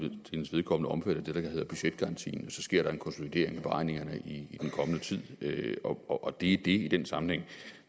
vedkommende omfattet af det der hedder budgetgarantien og så sker der en konsolidering af beregningerne i den kommende tid og det er så det i den sammenhæng